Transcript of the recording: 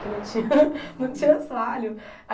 Que não tinha não tinha assoalho.